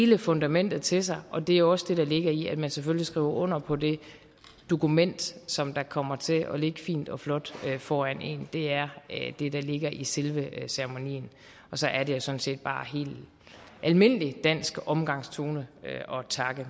det fundamentet til sig og det er også det der ligger i at man selvfølgelig skriver under på det dokument som kommer til at ligge fint og flot foran en det er det der ligger i selve ceremonien og så er det sådan set bare helt almindelig dansk omgangsform at takke